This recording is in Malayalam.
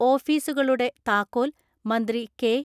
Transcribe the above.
ഓഫീസുകളുടെ താക്കോൽ മന്ത്രി കെ.